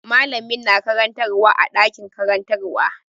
Mallamin na karantarwa a ɗakin karantarwa.